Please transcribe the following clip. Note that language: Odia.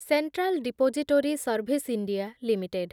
central Depository Service India limited